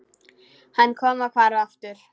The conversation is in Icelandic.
Hann kom og hvarf aftur.